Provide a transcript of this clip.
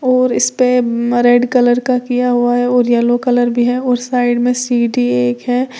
और इसपे म रेड कलर का किया हुआ है और येलो कलर भी है और साइड में सीढ़ी एक है।